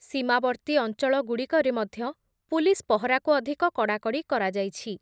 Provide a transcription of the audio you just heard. ସୀମାବର୍ତ୍ତୀ ଅଞ୍ଚଳଗୁଡ଼ିକରେ ମଧ୍ୟ ପୁଲିସ୍ ପହରାକୁ ଅଧିକ କଡ଼ାକଡ଼ି କରାଯାଇଛି।